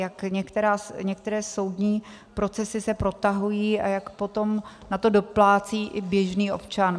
Jak některé soudní procesy se protahují a jak potom na to doplácí i běžný občan.